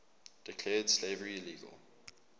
declared slavery illegal